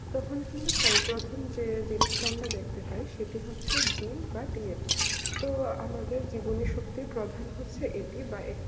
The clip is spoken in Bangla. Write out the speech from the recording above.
তখন কিন্তু সই গঠন যে দৃষ্টান্ত দেখতে চাই সেটা হচ্ছে জিন বাট ইউ রো আমাদের জীবনের সবথেকে প্রধান হচ্ছে এটি বা একটি